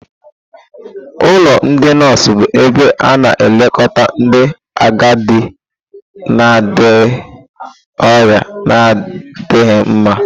Ụlọ ndị nọọsụ bụ ebe a na-elekọta ndị agadi na ndị ọrịa na-adịghị mma.